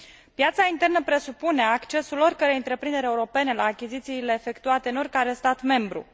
Piața internă presupune accesul oricărei întreprinderi europene la achizițiile efectuate în oricare stat membru.